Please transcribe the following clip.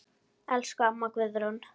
Elsku amma Guðrún.